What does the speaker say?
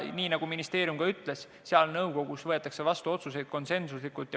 Nii nagu ministeerium ka ütles, seal nõukogus võetakse vastu otsuseid konsensuslikult.